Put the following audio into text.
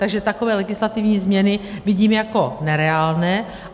Takže takové legislativní změny vidím jako nereálné.